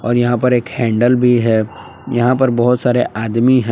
और यहां पर एक हैंडल भी है यहां पर बहुत सारे आदमी हैं।